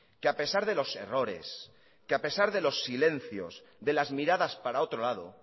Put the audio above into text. que a pesar de los errores que a pesar de los silencios de las miradas para otro lado